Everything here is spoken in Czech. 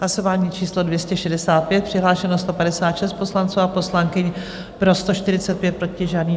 Hlasování číslo 265, přihlášeno 156 poslanců a poslankyň, pro 145, proti žádný.